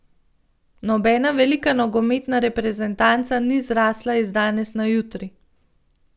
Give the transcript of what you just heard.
Nobena velika nogometna reprezentanca ni zrasla iz danes na jutri.